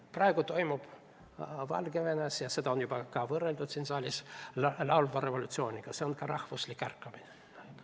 Praegu toimub Valgevenes ka rahvuslik ärkamine, seal toimuvat on juba võrreldud siin saalis laulva revolutsiooniga.